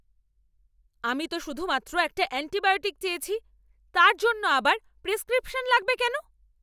আমি তো শুধুমাত্র একটা অ্যান্টিবায়োটিক চেয়েছি! তার জন্য আবার প্রেসক্রিপশন লাগবে কেন?